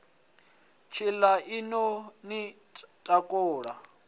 tshaṋu i ḓo ni takula